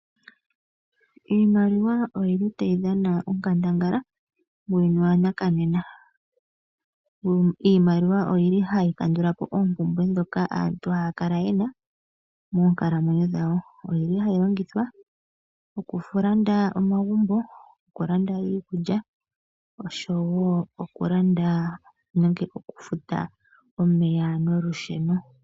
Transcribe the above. Iimaliwa oyi li tayi dhana onkandangala muuyuni wanakanena. Iimaliwa oyi li hayi kandula po oopumbwe ndhoka aantu haya kala ye na monkalamwenyo dhawo. Oyi li hayi longithwa okulanda omagumbo, okulanda iikulya oshowo okulanda nenge okufuta omeya nolusheno.